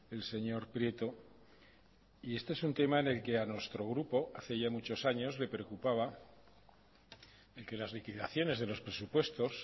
el señor prieto y este es un tema en el que a nuestro grupo hace ya muchos años le preocupaba y que las liquidaciones de los presupuestos